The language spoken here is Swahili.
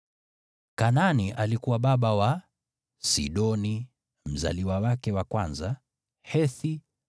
Kanaani alikuwa baba wa: Sidoni mzaliwa wake wa kwanza, Hethi,